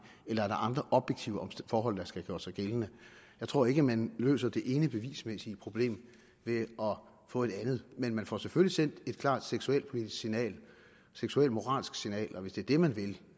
eller er der andre objektive forhold der skal have gjort sig gældende jeg tror ikke man løser det ene bevismæssige problem ved at få et andet men man får selvfølgelig sendt et klart seksualpolitisk signal seksualmoralsk signal og hvis det er det man vil